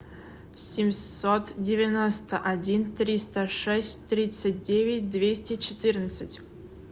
семьсот девяносто один триста шесть тридцать девять двести четырнадцать